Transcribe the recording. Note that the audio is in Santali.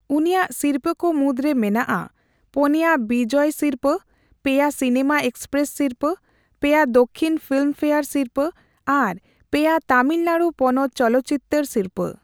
ᱩᱱᱤᱭᱟᱜ ᱥᱤᱨᱯᱟᱹ ᱠᱚ ᱢᱩᱫᱽᱨᱮ ᱢᱮᱱᱟᱜᱼᱟ ᱯᱳᱱᱭᱟ ᱵᱤᱡᱚᱭ ᱥᱤᱨᱯᱟᱹ, ᱯᱮᱭᱟ ᱥᱤᱱᱟᱹᱢᱟ ᱮᱹᱠᱥᱯᱨᱮᱥ ᱥᱤᱨᱯᱟᱹ ᱯᱮᱭᱟ ᱫᱚᱠᱠᱷᱤᱱ ᱯᱷᱤᱞᱢᱯᱷᱮᱭᱟᱨ ᱥᱤᱨᱯᱟᱹ ᱟᱨ ᱯᱮᱭᱟ ᱛᱟᱢᱤᱞᱱᱟᱲᱩ ᱯᱚᱱᱚᱛ ᱪᱚᱞᱚᱛᱪᱤᱛᱟᱹᱨ ᱥᱤᱨᱯᱟᱹ᱾